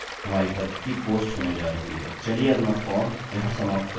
चलिए अपनी फॉर्म यहाँ समाप्त करते हैं